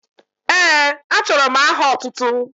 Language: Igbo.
Ee, achọrọ m aha otụtụ.